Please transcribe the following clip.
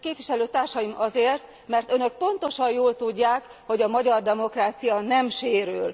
Hát képviselőtársaim azért, mert Önök pontosan jól tudják, hogy a magyar demokrácia nem sérül.